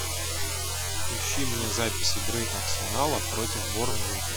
ищи мне запись игры арсенала против борнмута